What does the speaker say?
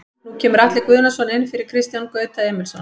Nú kemur Atli Guðnason inn fyrir Kristján Gauta Emilsson.